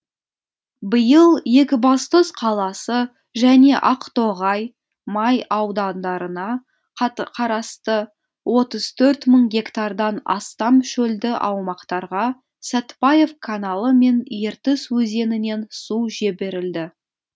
биыл екібастұз қаласы және ақтоғай май аудандарына қарасты отыз төрт мың гектардан астам шөлді аумақтарға сәтбаев каналы мен ертіс өзенінен су жіберілді